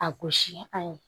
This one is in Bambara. A gosi a ye